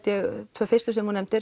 tvö fyrstu sem þú nefndir